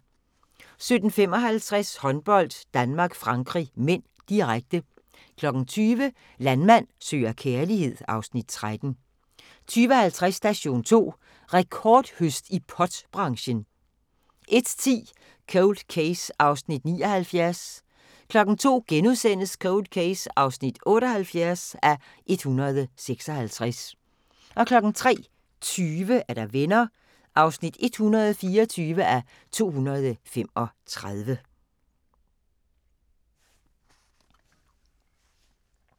17:55: Håndbold: Danmark-Frankrig (m), direkte 20:00: Landmand søger kærlighed (Afs. 13) 20:50: Station 2: Rekordhøst i pot-branchen 01:10: Cold Case (79:156) 02:00: Cold Case (78:156)* 03:20: Venner (124:235)